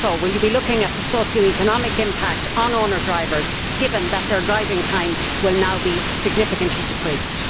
Also, will you be looking at the socio economic impact on owner drivers given that their driving time will now be significantly decreased?